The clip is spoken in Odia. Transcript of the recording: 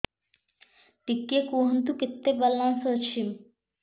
ଟିକେ କୁହନ୍ତୁ କେତେ ବାଲାନ୍ସ ଅଛି